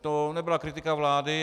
To nebyla kritika vlády.